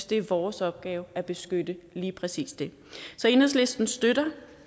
det er vores opgave at beskytte lige præcis det så enhedslisten støtter